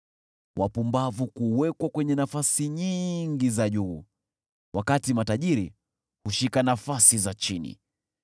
Wapumbavu kuwekwa kwenye nafasi nyingi za juu, wakati matajiri hushika nafasi za chini.